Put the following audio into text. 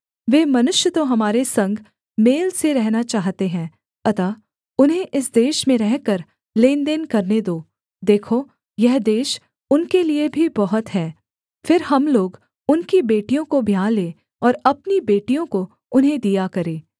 वे मनुष्य तो हमारे संग मेल से रहना चाहते हैं अतः उन्हें इस देश में रहकर लेनदेन करने दो देखो यह देश उनके लिये भी बहुत है फिर हम लोग उनकी बेटियों को ब्याह लें और अपनी बेटियों को उन्हें दिया करें